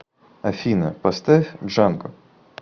афина поставь джанго